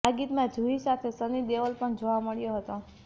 આ ગીતમાં જૂહી સાથે સની દેઓલ પણ જોવા મળ્યો હતો